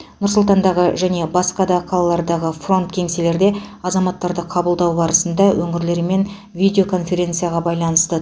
нұр сұлтандағы және басқа да қалалардағы фронт кеңселелерде азаматтарды қабылдау барысында өңірлерімен видеоконференцияға байланысты